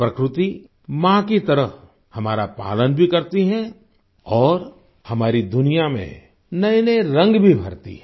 प्रकृति माँ की तरह हमारा पालन भी करती है और हमारी दुनिया में नएनए रंग भी भरती है